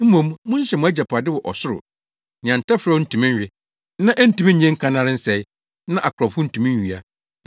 Mmom monhyehyɛ mo agyapade wɔ ɔsoro, nea ntɛferɛw ntumi nwe, na entumi nnye nkannare nsɛe, na akorɔmfo ntumi nwia.